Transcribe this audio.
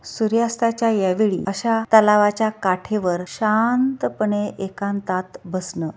सूर्यास्ताच्या या वेळी अशा तलावाच्या काठेवर शांतपणे एकांतात बसणं--